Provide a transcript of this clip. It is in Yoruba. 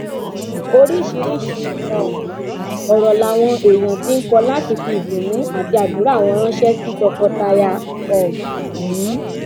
oríṣiríṣiì um ọrọ làwọn èèyàn ti ń kọ láti fi ìdùnnú àti àdúrà wọn ránṣẹ sí tọkọtaya um yìí